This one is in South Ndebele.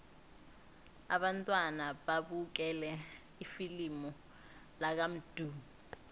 abantwana babukele ifilimu lakamdu